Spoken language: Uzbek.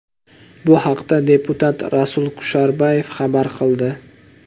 Bu haqda deputat Rasul Kusherbayev xabar qildi.